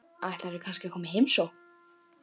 Ætlarðu kannski að koma í heimsókn?